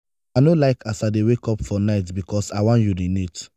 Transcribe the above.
i no like as i dey wake up for night because i wan urinate.